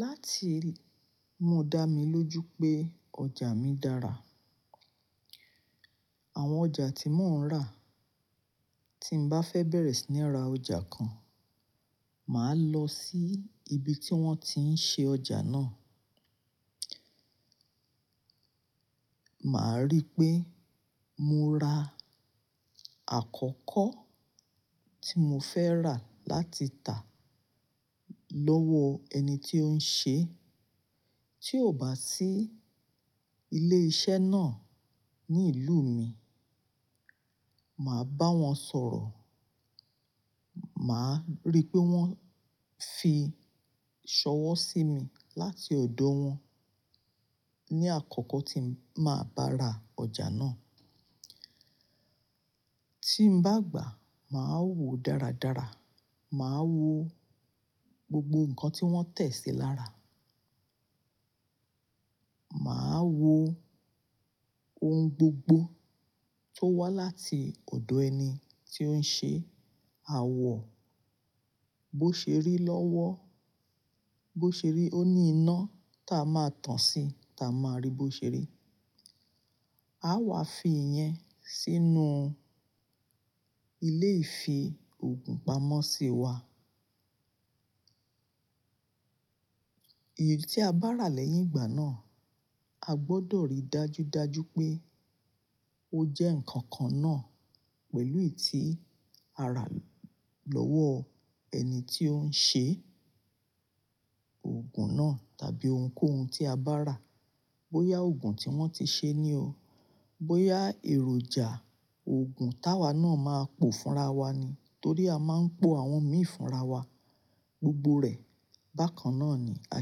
Láti mú dá mi lójú pé ọjà mi dára. Àwọn ọjà tí mò ń rà, tí n bá fẹ́ bẹ̀rẹ̀ sí ní ra ọjà kan, màá lọ sí ibi tí wọ́n ti ń ṣe ọjà náà. Màá rí pé mo ra àkọ́kọ́ tí mo fẹ́ rà láti tà lọ́wọ́ ẹni tí ó ń ṣe, tí ò bá sí ilé iṣẹ́ náà ní ìlú mi, màá bá wọn sọ̀rọ̀. Màá rí pé wọ́n fi ṣọ́wọ́ sí mi láti ọ̀dọ̀ wọn ní àkọ́kọ́ tí màá bá ra ọjà náà. Tí n bá gbà, màá wo dáradára, màá wo gbogbo nǹkan tí wọ́n tẹ̀ sí lára. Màá wo ohun gbogbo tó wá láti ọ̀dọ̀ ẹni tí ó ń ṣe, a wọ̀ bó ṣe rí lọ́wọ́, bó ṣe rí ó ní iná tá a máa tàn sí tá a máa rí bó ṣe rí. A wàá fi ìyẹn sínú ilé ìfi òògùn pamọ́ sí wa. Èyí tí a bá rà lẹ́yìn ìgbà náà, a gbọdọ̀ rí dájúdájú pé ó jẹ́ nǹkan kan náà pẹ̀lú èyí tí a rà lọ́wọ́ ẹni tí ó ń ṣe òògùn náà tàbí ohunkóhun tí a bá rà. Bóyá òògùn tí wọ́n ti ṣe ni o, bóyá èròjà òògùn táwa náà máa pò fúnra wa ni. Torí a máa ń pò àwọn míì fúnra wa gbogbo rẹ̀. Bákan náà ni a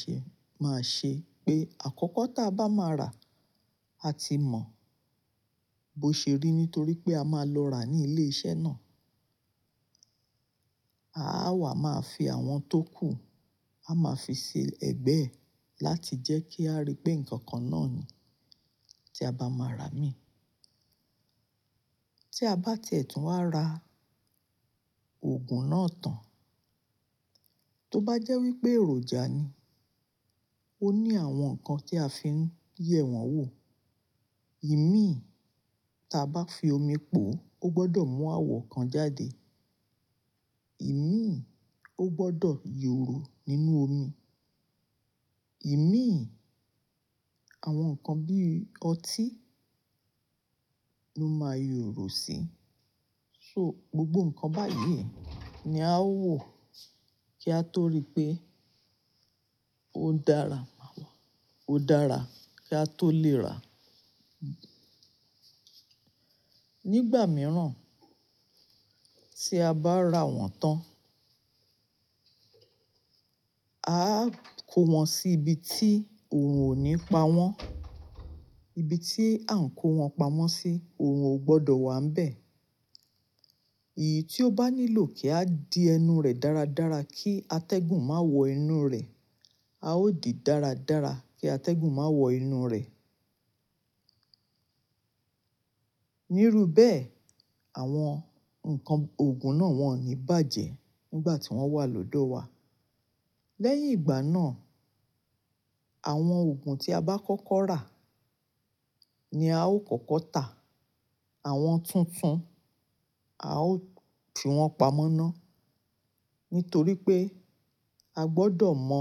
ṣe-- máa ṣe pé àkọ́kọ́ tá a bá máa rà, a ti mọ̀ bó ṣe rí nítorí pé a máa lọ rà ní ilé iṣẹ́ náà. A wàá máa fi àwọn tó kù, a máa fi ṣe ẹ̀gbẹ́ láti jẹ́ kí a rí pé nǹkan kan náà ni tí a bá máa rà mii. Tí a bá ti ẹ̀tún wá ra òògùn náà tán, tó bá jẹ́ wípé èròjà ni, ó ní àwọn nǹkan tí a fi ń yẹ̀ wọ́n wò. Ìmíì tá a bá fi omi pò, ó gbọdọ̀ mú àwọ̀ kan jáde. Ìmíì ó gbọdọ̀ yòòró nínú omi. Ìmíì àwọn nǹkan bí ọtí ló máa yòòró sí. So gbogbo nǹkan báyìí ni a ó wò kí a tó rí pé ó dára, ó dára kí a tó lè rà. Nígbà mìíràn tí a bá rà wọ́n tán, a á kó wọn sí ibi tí òun ò ní pa wọ́n. Ibi tí a ń kó wọn pamọ́ sí, òrun ò gbọdọ̀ wà n bẹ́ẹ̀. Èyí tí ó bá nílò kí a di ẹnu rẹ̀ dáradára kí atẹ́gùn má wọ inú rẹ̀, a ó di dáradára kí atẹ́gùn má wọ inú rẹ̀. Níru bẹ́ẹ̀, àwọn nǹkan òògùn náà wọ́n ò ní bàjẹ́ nígbà tí wọ́n wà lódò wa. Lẹ́yìn ìgbà náà, àwọn òògùn tí a bá kọ́kọ́ rà ni a ó kọ́kọ́ tà. Àwọn tuntun, a ó fi wọ́n pamọ́ ná. Nítorí pé a gbọdọ̀ mọ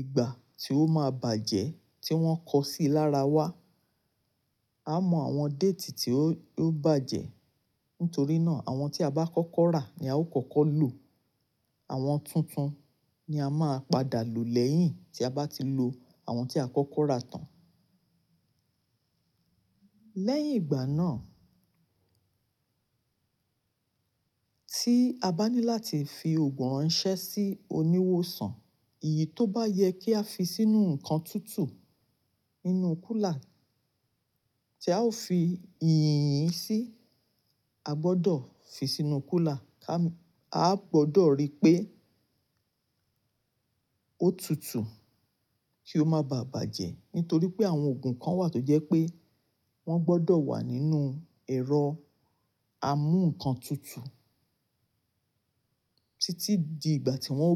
ìgbà tí ó máa bàjẹ́ tí wọ́n kọ sí lára wá. A mọ àwọn déètì tí ó, ó bàjẹ́. Nítorí náà, àwọn tí a bá kọ́kọ́ rà ni a ó kọ́kọ́ lò. Àwọn tuntun ni a máa padà lò lẹ́yìn tí a bá ti lo àwọn tí a kọ́kọ́ rà tán. Lẹ́yìn ìgbà náà tí a bá ní láti fi òògùn ránṣẹ́ sí oníwòsàn, èyí tó bá yẹ kí a fi sínú nǹkan tútù nínú kúlà tí a ó fi yìnyín sí, a gbọdọ̀ fi sínú kúlà ká-- a gbọdọ̀ rí pé ó tutù kí ó má bà bàjẹ́. Nítorí pé àwọn òògùn kan wà tó jẹ́ pé wọ́n gbọdọ̀ wà nínú ẹ̀rọ a mú nǹkan tutù títí di ìgbà tí wọ́n ó.